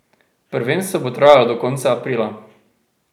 Prvenstvo bo trajalo do konca aprila.